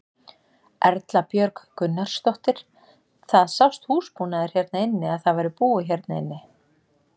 Erla Björg Gunnarsdóttir: Það sást húsbúnaður hérna inni að það væri búið hérna inni?